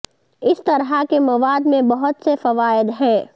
اس طرح کے مواد میں بہت سے فوائد ہیں